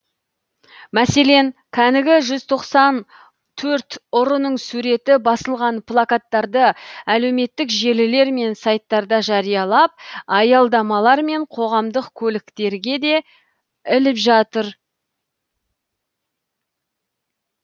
мәселен кәнігі жүз тоқсан төрт ұрының суреті басылған плакаттарды әлеуметтік желілер мен сайттарда жариялап аялдамалар мен қоғамдық көліктерге де іліп жатыр